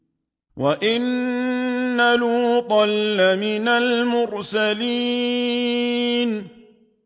وَإِنَّ لُوطًا لَّمِنَ الْمُرْسَلِينَ